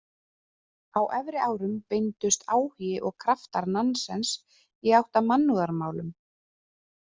Á efri árum beindust áhugi og kraftar Nansens í átt að mannúðarmálum.